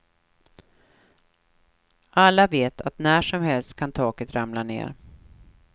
Alla vet att när som helst kan taket ramla ner.